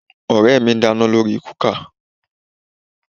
Ọ̀rẹ́ mi ń dáná lórí kúkà